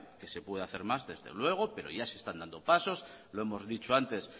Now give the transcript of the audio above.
que se puede hacer más desde luego pero ya se están dando pasos lo hemos dicho antes